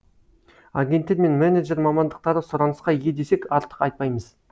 агенттер мен менеджер мамандықтары сұранысқа ие десек артық айтпаймыз